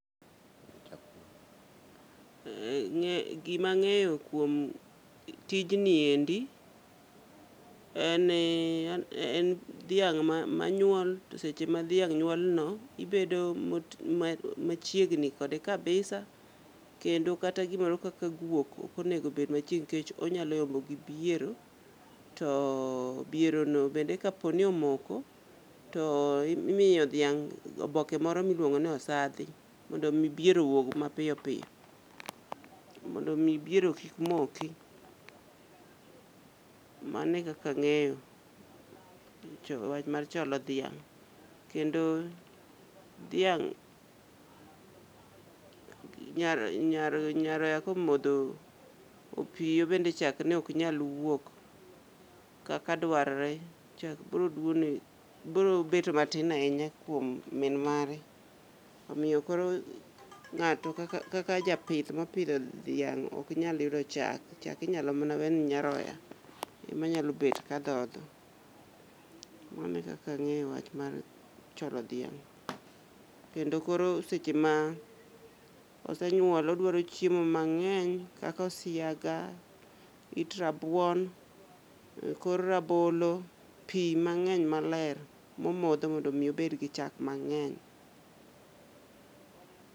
E ng'e gima ng'eyo kuom tijni endi en ni en dhiang' manyuol. To seche ma dhiang' nyuol no ibedo mot machiegni kode kabisa, kendo kata gimoro kaka guok okonego bed machiegni nkech onyalo yombo gi biero. To biero no bende ka poni omoko to imiyo dhiang' oboke moro miluongo ni osadhi, mondo mi biero owuog mapiyo piyo, mondo mi biero kik moki. Mano e kaka ang'eyo wach mar cholo dhiang'. Kendo dhiang' nyar nyaroya komodho opiyo bende chak ne ok nyal wuok kaka dwar re. Chak bro dwono bro bet matin ahinya kuom min mare. Omiyo koro ng'ato kaka japith mopidho dhiang' ok nyal yudo chak, chak inyalo mana wene nyaroya. Ema nyalo bet ka dhodho, mano e kaka ang'eyo wach mar cholo dhiang'. Kendo koro seche ma osenyuol odwaro chiemo mang'eny, kaka osiaga, it rabuon, kor rabolo, pi mang'eny maler momodho mondo mi obed gi chak mang'eny.